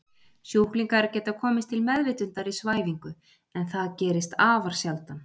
Sjúklingar geta komist til meðvitundar í svæfingu en það gerist afar sjaldan.